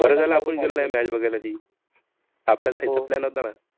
बरं झालं आपण गेलो नाही match बघायला ती. आपला जायचा plan होता ना.